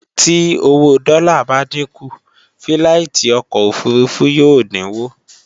Tí owó dọ́là bá dínkù, fíláìtí ọkọ̀ òfurufú yóò dínwó